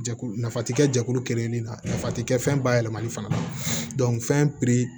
Jɛkulu nafa ti kɛ jɛkulu kelen nin na nafa ti kɛ fɛn bayɛlɛmali fana fɛn piri